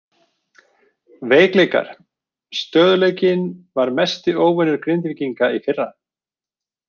Veikleikar: Stöðugleikinn var mesti óvinur Grindvíkinga í fyrra.